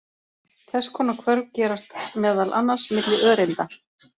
Þess konar hvörf gerast meðal annars milli öreinda.